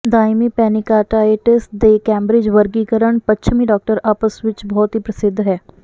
ਦਾਇਮੀ pancreatitis ਦੇ Cambridge ਵਰਗੀਕਰਨ ਪੱਛਮੀ ਡਾਕਟਰ ਆਪਸ ਵਿੱਚ ਬਹੁਤ ਹੀ ਪ੍ਰਸਿੱਧ ਹੈ